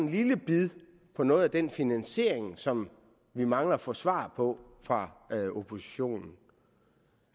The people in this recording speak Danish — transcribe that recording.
lille bid om noget af den finansiering som vi mangler at få svar på fra oppositionen